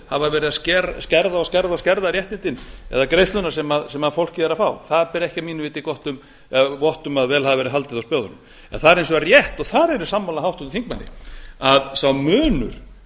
hafa verið að skerða og skerða réttindin eða greiðsluna sem fólkið er að fá það ber ekki að mínu viti vott um að vel hafi verið haldið á spöðunum en það er hins vegar rétt og þar er ég sammála háttvirtum þingmanni að sá munur